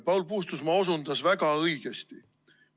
Paul Puustusmaa osutas väga õigesti.